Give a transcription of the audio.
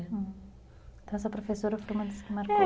Então essa professora foi uma das que marcou.